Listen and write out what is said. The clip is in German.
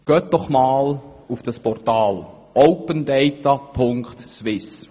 Gehen Sie einmal auf dieses Portal, www.opendata.swiss.